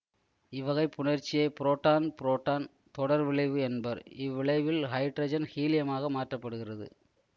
இவ்வகை புணர்ச்சியை புரோட்டான்புரோட்டான் தொடர் விளைவு என்பர் இவ்விளைவில் ஹைட்ரஜன் ஹீலியமாக மாற்ற படுகிறது